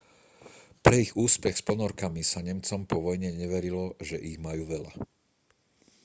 pre ich úspech s ponorkami sa nemcom po vojne neverilo že ich majú veľa